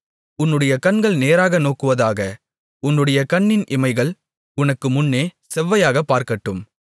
உன்னுடைய கண்கள் நேராக நோக்குவதாக உன்னுடைய கண்ணின் இமைகள் உனக்கு முன்னே செவ்வையாகப் பார்க்கட்டும்